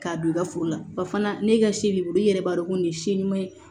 K'a don i ka foro la ba fana ne ka si b'i bolo i yɛrɛ b'a dɔn ko nin ye si ɲuman ye